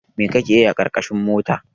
Mai kake yi a ƙarƙashin mota?